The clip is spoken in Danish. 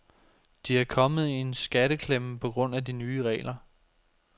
De er kommet i en skatteklemme på grund af de nye regler.